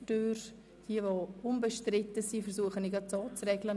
Die unbestrittenen Artikel versuche ich auf diese Weise zu regeln.